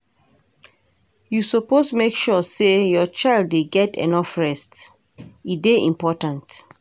You suppose make sure say your child dey get enough rest, e dey important.